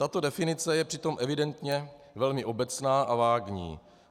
Tato definice je přitom evidentně velmi obecná a vágní.